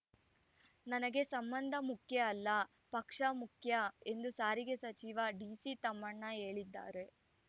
ನನಗೆ ಸಂಬಂಧ ಮುಖ್ಯ ಅಲ್ಲ ಪಕ್ಷ ಮುಖ್ಯ ಎಂದು ಸಾರಿಗೆ ಸಚಿವ ಡಿಸಿತಮ್ಮಣ್ಣ ಹೇಳಿದ್ದಾರೆ